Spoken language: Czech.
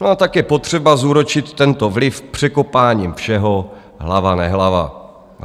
No a tak je potřeba zúročit tento vliv překopáním všeho hlava nehlava.